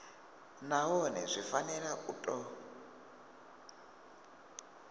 nahone zwi fanela u tou